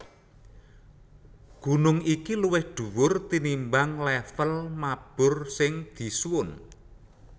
Gunung iki luwih dhuwur tinimbang lèvel mabur sing disuwun